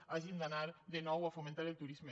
que hagin d’anar de nou a fomentar el turisme